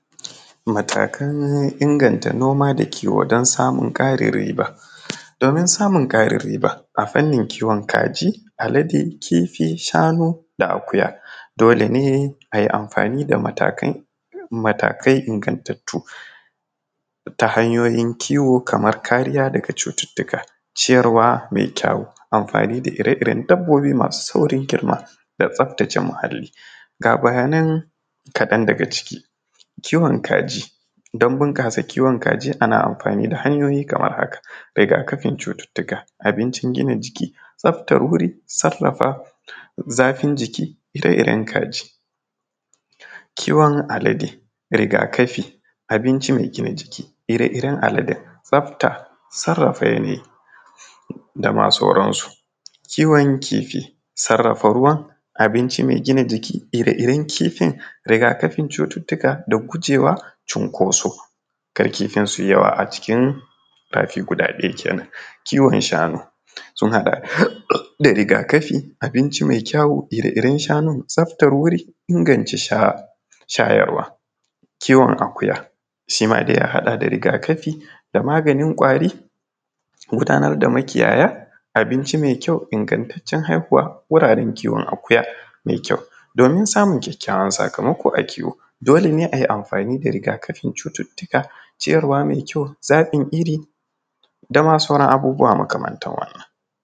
Matakan inganta noma da kiwo don samun Karin riba, domin samun Karin riba a fannin kiwon kaji, alade, fifi, shanu da akuya, dole ne ayi amfani da matakai ingantattu ta hanyoyin kiwo kamar kariya daga cututtuka, ciyarwa mai kyau, amfani da ire-iren dabobbi masu saurin girma da tsaftace muhali, ga bayanan kadan daga ciki, kiwon kaji don bunkasa kiwon kaji ana amfani da hanyoyi kamar haka, rigakafin cututtuka, abincin gina jiki, tsaftar wuri, sarafa zafin jikin ire-iren kaji. Kiwon alade rigakafin, abincin gina jiki, ire-iren aladen, tsaftar, sarafa yanayi dama sauransu. Kiwon kifi, sarafa ruwa, abinci mai gina jiki, ire-iren kifi, rigakafin cututtuka da gujewa cinkoso kar kifin suyi yawa a cikin rafi guda ɗaya kenan. Kiwon shanu sun haɗa da rigakafi, abinci mai kyau, ire-iren shanun, tsaftar wuri, inganta shayarwa. Kiwon akuya shima dai a haɗa da rigakafi da maganin ƙwari, gudanar da makiyaya, abinci mai kyau, ingantacen haihuwa, wuraren kiwon akuya mai kyau, domin samun kyakkyawan sakamako a kiwo dole ne ayi amfani da rigakafin cututtuka, ciyarwa mai kyau, zabin iri dama sauran abubuwa makamantar wannan.